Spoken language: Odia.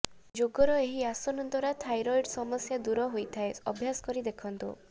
ଯୋଗର ଏହି ଆସନ ଦ୍ବାରା ଥାଇରଏଡ ସମସ୍ୟା ହୋଇଥାଏ ଦୂର ଅଭ୍ୟାସ କରି ଦେଖନ୍ତୁ